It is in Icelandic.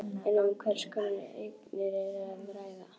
En um hvers konar eignir er að ræða?